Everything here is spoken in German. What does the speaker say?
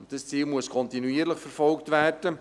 Dieses Ziel muss kontinuierlich verfolgt werden.